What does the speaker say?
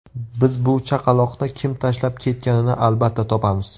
Biz bu chaqaloqni kim tashlab ketganini albatta topamiz.